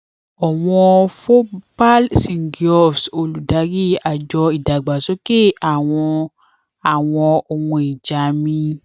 ọwọn bhopal singhiofs olùdarí àjọ ìdàgbàsókè àwọn àwọn ohun ìjà min